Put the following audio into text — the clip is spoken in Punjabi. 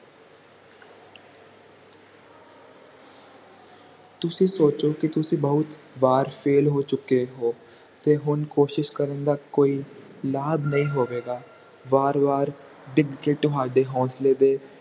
ਤੁਸੀਂ ਸੋਚੋ ਕਿ ਤੁਸੀਂ ਬਹੁਤ ਵਾਰ fail ਹੋ ਚੁੱਕੇ ਹੋ ਤੇ ਹੁਣ ਕੋਸ਼ਿਸ਼ ਕਰਨ ਦਾ ਕੋਈ ਲਾਭ ਨਹੀਂ ਹੋਵੇਗਾ ਵਾਰ ਵਾਰ ਡਿੱਗ ਕੇ ਤੁਹਾਡੇ ਹੋਂਸਲੇ ਦੇ